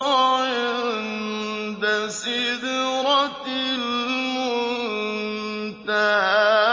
عِندَ سِدْرَةِ الْمُنتَهَىٰ